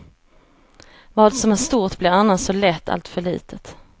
Vad som är stort blir annars så lätt alltför litet.